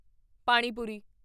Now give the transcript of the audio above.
ਪਾਣੀ ਪੂਰੀ